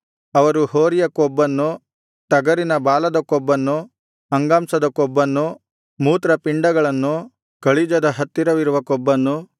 ಅವರು ಹೋರಿಯ ಕೊಬ್ಬನ್ನು ಟಗರಿನ ಬಾಲದ ಕೊಬ್ಬನ್ನು ಅಂಗಾಂಶದ ಕೊಬ್ಬನ್ನು ಮೂತ್ರಪಿಂಡಗಳನ್ನು ಕಳಿಜದ ಹತ್ತಿರವಿರುವ ಕೊಬ್ಬನ್ನು